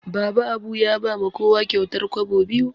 Baba Abu ya ba ma kowa kyautar kwabo biyu